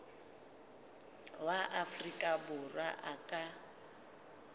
wa afrika borwa a ka